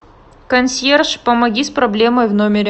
консьерж помоги с проблемой в номере